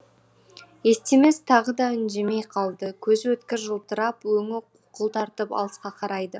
естемес тағы да үндемей қалды көзі өткір жылтырап өңі қуқыл тартып алысқа қарайды